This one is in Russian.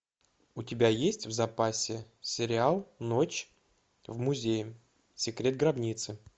у тебя есть в запасе сериал ночь в музее секрет гробницы